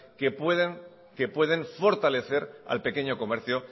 que pueden que pueden fortalecer al pequeño comercio